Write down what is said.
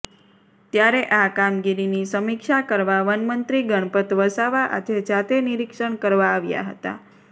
ત્યારે આ કામગીરીની સમીક્ષા કરવા વનમંત્રી ગણપત વસાવા આજે જાતે નીરીક્ષણ કરવા આવ્યા હતા